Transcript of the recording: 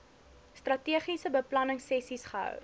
strategiese beplanningsessies gehou